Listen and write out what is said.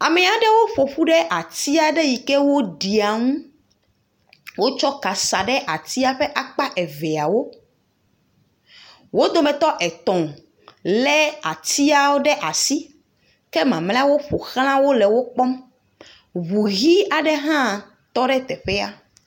Ame aɖewo ƒoƒu ɖe ati aɖe yike ɖia ŋu. Wokɔ ka sa ɖe ati ƒe akpa eveawo. Wo dometɔ etɔ le atiawo ɖe asi, ke mamlɛwo ƒo xlã le ekpɔm. Ŋu ʋi aɖe ha tɔ ɖe teƒea.